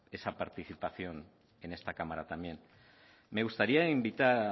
esa participación en esta cámara también me gustaría invitar